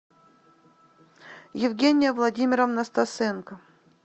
евгения владимировна стасенко